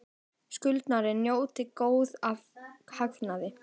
Skuldari njóti góðs af hagnaði